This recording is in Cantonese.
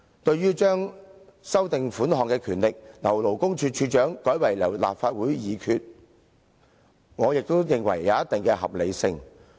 至於修訂有關款項的權力，由原屬勞工處處長，改為由立法會藉決議行使，我亦認為有一定合理性。